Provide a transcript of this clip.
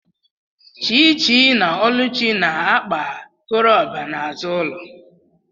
Chichi na oluchi na-akpa koroba n’azụ ụlọ